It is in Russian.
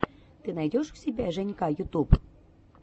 ты найдешь у себя женька ютуб